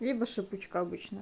либо шипучка обычная